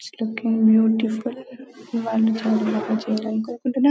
just looking beautiful చేయడానికి ఒప్పుకున్నా --